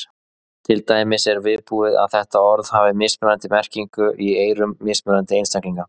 Til dæmis er viðbúið að þetta orð hafi mismunandi merkingu í eyrum mismunandi einstaklinga.